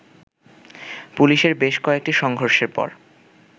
পুলিশের বেশ কয়েকটি সংঘর্ষের পর